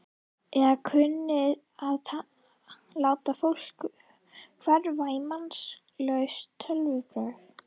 Eða kunnað að láta fólk hverfa með makalausum töfrabrögðum.